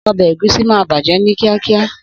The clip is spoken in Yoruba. Obe egusi maà baje ni kiakia.